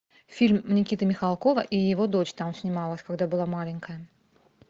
фильм никиты михалкова и его дочь там снималась когда была маленькая